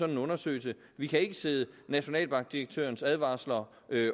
en undersøgelse vi kan ikke sidde nationalbankdirektørens advarsler